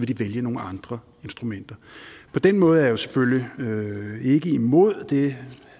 de vælge nogle andre instrumenter på den måde er jeg jo selvfølgelig ikke imod det